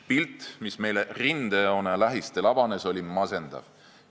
Pilt, mis meile rindejoone lähistel avanes, oli masendav.